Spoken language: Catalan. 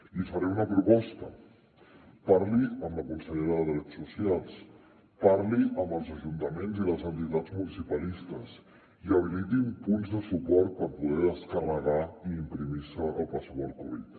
li faré una proposta parli amb la consellera de drets socials parli amb els ajuntaments i les entitats municipalistes i habilitin punts de suport per poder descarregar i imprimir se el passaport covid